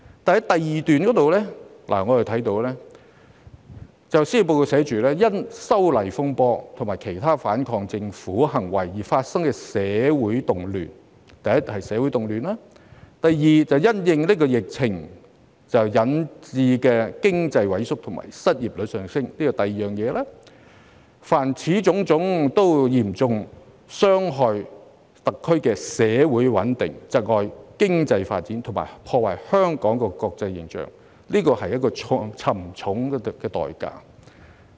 第2段寫："因'修例風波'和其他反抗政權行為而發生的社會動亂"——社會動亂是其一——"因新冠疫情肆虐而引致的經濟萎縮和失業率上升"——此其二——"......凡此種種，都嚴重損害特區的社會穩定、窒礙經濟發展、破壞香港的國際形象，社會付出了沉重代價"。